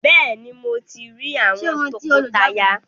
Béèni, Mọ tí rí àwọn tọkọtaya